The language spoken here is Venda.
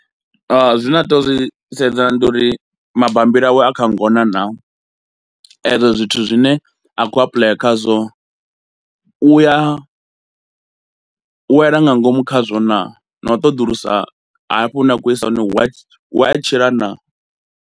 Zwine a tea u zwi sedza ndi uri mabammbiri awe a kha ngona naa, ezwo zwithu zwine a khou apuḽaya khazwo u ya wela nga ngomu khazwo naa, na u ṱoḓulusa hafho hune a khou isa hone hu a hu a tshila naa.